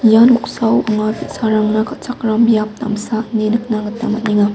ia noksao anga bi·sarangna kal·chakram biap damsa ine nikna gita man·enga.